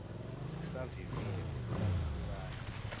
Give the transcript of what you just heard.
sisavivile kudlula impukane